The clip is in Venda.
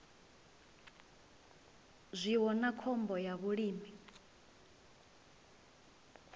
zwiwo na khombo ya vhulimi